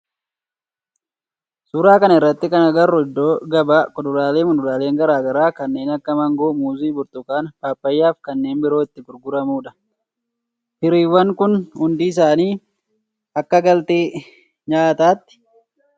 Suuraa kana irratti kan agarru iddoo gabaa kuduraalee fi muduraaleen garaa garaa kanneen akka maangoo, muuzii, burtukaana, paappayyaa fi kanneen biroo itti gurguramudha. Firiiwwan kun hundi isaanii akka galtee nyaatatti fayyadu.